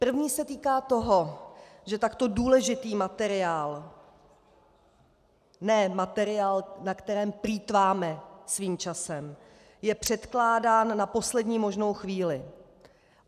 První se týká toho, že takto důležitý materiál, ne materiál, na kterém plýtváme svým časem, je předkládán na poslední možnou chvíli.